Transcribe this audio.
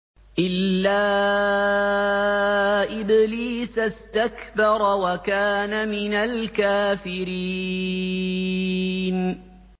إِلَّا إِبْلِيسَ اسْتَكْبَرَ وَكَانَ مِنَ الْكَافِرِينَ